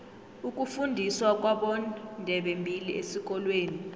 ukufundiswa kwabondebembili esikolweni